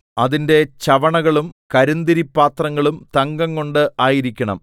അതിന്റെ ചവണകളും കരിന്തിരിപ്പാത്രങ്ങളും തങ്കംകൊണ്ട് ആയിരിക്കണം